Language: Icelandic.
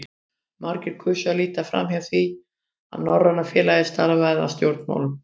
Margir kusu að líta framhjá því, að Norræna félagið starfaði að stjórnmálum.